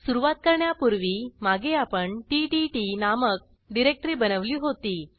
सुरूवात करण्यापूर्वी मागे आपण टीटीटी नामक डिरेक्टरी बनवली होती